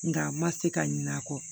Nka a ma se ka ɲinɛ a kɔ